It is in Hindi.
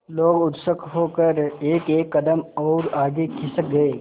लोग उत्सुक होकर एकएक कदम और आगे खिसक गए